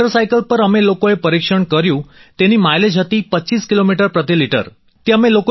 sir motorcycle પર અમે લોકોએ પરિક્ષણ કર્યું તેની માઈલેજ હતી 25 કિલોમીટર પ્રતિ લિટર હતી